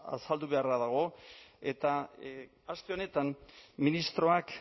azaldu beharra dago eta aste honetan ministroak